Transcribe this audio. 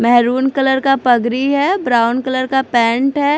Maroon colour का पगरी है ब्राउन कलर का पैंट है।